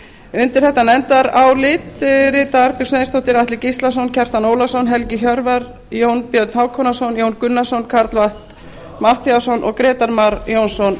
undir þetta nefndarálit rita arnbjörg sveinsdóttir atli gíslason kjartan ólafsson helgi hjörvar jón björn hákonarson jón gunnarsson karl fimmti matthíasson og grétar mar jónsson